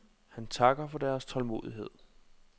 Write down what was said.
Han takker for deres tålmodighed.